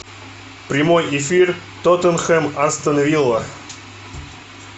прямой эфир тоттенхэм астон вилла